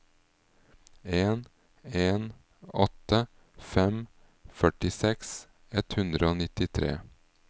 en en åtte fem førtiseks ett hundre og nittitre